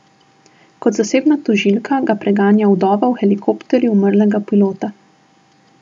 Kot zasebna tožilka ga preganja vdova v helikopterju umrlega pilota.